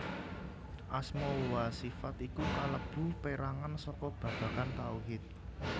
Asma wa sifat iku kalebu perangan saka babagan tauhid